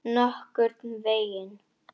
Nokkurn veginn.